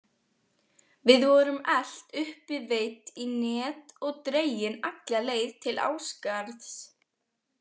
Við vorum elt uppi, veidd í net og dregin alla leið til Ásgarðs.